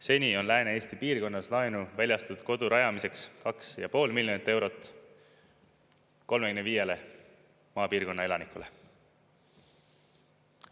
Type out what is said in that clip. Seni on Lääne-Eesti piirkonnas laenu väljastatud kodu rajamiseks 2,5 miljonit eurot 35 maapiirkonna elanikule.